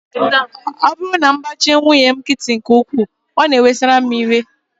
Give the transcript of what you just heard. Ọ bụrụ na m gbachi nwunye m nkịtị nke ukwuu, ọ na-ewesara m iwe